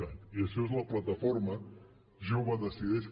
cat i això és la plataforma jovedecideix